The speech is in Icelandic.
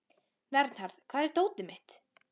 Vernharð, hvar er dótið mitt?